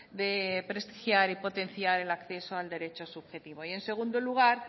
de prestigiar y potenciar el acceso al derecho subjetivo y en segundo lugar